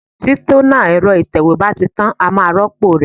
Tí tónà ẹ̀rọ ìtẹ̀wé bá ti tán, a máa rópò ẹ̀.